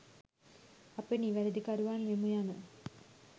අපි නිවැරදිකරුවන් වෙමු යන